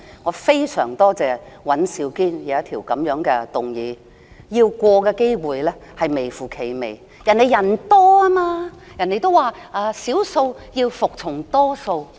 我非常感謝尹兆堅議員提出這項議案，但這項議案通過的機會微乎其微，因為他們人數較多，他們說少數要服從多數。